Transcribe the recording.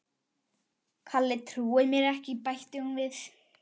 Kalli trúir mér ekki bætti hún við.